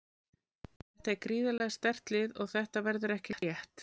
Þetta er gríðarlega sterkt lið og þetta verður ekki létt.